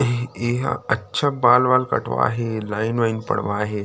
ए एहा अच्छा बाल-वाल कटवा हे लाइन वाइन पड़वा हे।